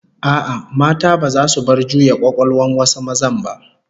A'a, mata baza su bar juya kwakwalwan wasu mazan ba